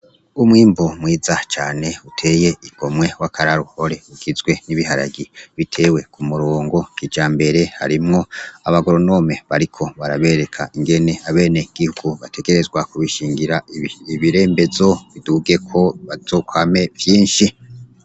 Umwimbu mwiza cane uteye igomwe w'akaroruhore ugizwe n'ibiharage bitewe ku murongo kijambere, harimwo abagoronome bariko barabereka ingene abenegihugu bategerezwa kubishingira ibirembezo bidugeko bazokwame vyinshi.